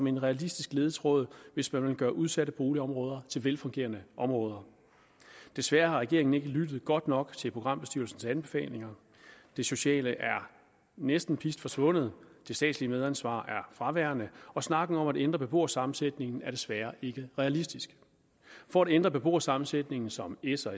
en realistisk ledetråd hvis man vil gøre udsatte boligområder til velfungerende områder desværre har regeringen ikke lyttet godt nok til programbestyrelsens anbefalinger det sociale er næsten pist forsvundet det statslige medansvar er fraværende og snakken om at ændre beboersammensætningen er desværre ikke realistisk for at ændre beboersammensætningen som s og